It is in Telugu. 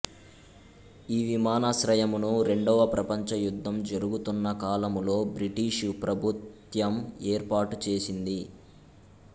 ఈ విమానాశ్రయమును రెండవ ప్రపంచ యుద్ధం జరుగుతున్న కాలములో బ్రిటీషు ప్రభుత్యము ఏర్పాటు చేసింది